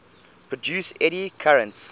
produce eddy currents